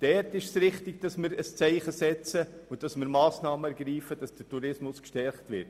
Dort ist es richtig, dass wir ein Zeichen setzen und Massnahmen ergreifen, damit der Tourismus gestärkt wird.